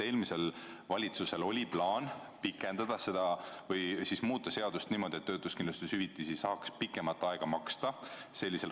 Eelmisel valitsusel oli plaan pikendada seda meedet või siis muuta seadust niimoodi, et töötuskindlustushüvitisi saaks raskel perioodil pikemat aega maksta.